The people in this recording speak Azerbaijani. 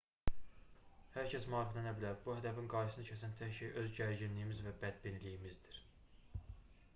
hər kəs maariflənə bilər bu hədəfin qarşısını kəsən tək şey öz gərginliyimiz və bədbinliyimizdir